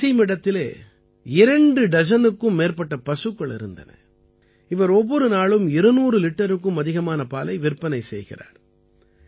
வசீமிடத்திலே இரண்டு டஜனுக்கு மேற்பட்ட பசுக்கள் இருந்தன இவர் ஒவ்வொரு நாளும் 200 லிட்டருக்கும் அதிகமான பாலை விற்பனை செய்கிறார்